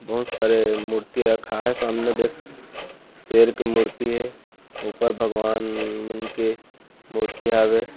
बहुत सारे मूर्ति रखा हे सामने देख शेर के मूर्ति हे ऊपर भगवन मन के मूर्ति हावे।